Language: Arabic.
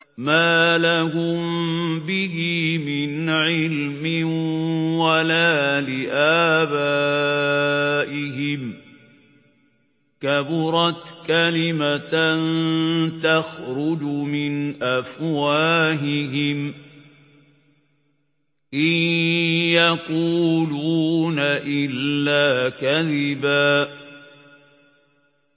مَّا لَهُم بِهِ مِنْ عِلْمٍ وَلَا لِآبَائِهِمْ ۚ كَبُرَتْ كَلِمَةً تَخْرُجُ مِنْ أَفْوَاهِهِمْ ۚ إِن يَقُولُونَ إِلَّا كَذِبًا